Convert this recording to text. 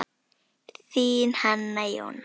Þín, Hanna Jóna.